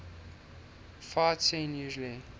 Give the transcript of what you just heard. fight scene usually